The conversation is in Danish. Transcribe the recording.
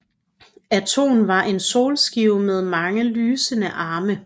Aton var en solskive med mange lysende arme